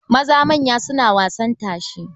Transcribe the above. Maza manya suna wasan tashe.